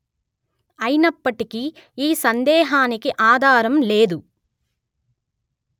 అయినప్పటికీ ఈ సందేహానికి ఆధారం లేదు